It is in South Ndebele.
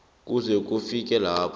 kuze kufike lapho